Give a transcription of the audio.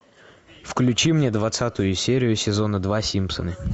включи мне двадцатую серию сезона два симпсоны